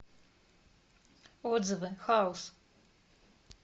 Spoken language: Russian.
отзывы хаус